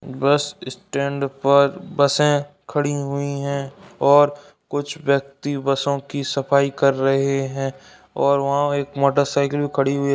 बस स्टैंड पर बसे खड़ी हुई हैं और कुछ व्यक्ति बसों की सफाई कर रहे हैं और वहां एक मोटरसाइकिल खड़ी हुई है।